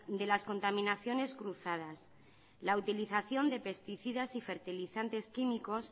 de las contaminaciones cruzadas la utilización de pesticidas y fertilizantes químicos